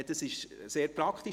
Das ist sehr praktisch.